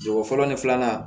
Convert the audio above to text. Ko fɔlɔ ni filanan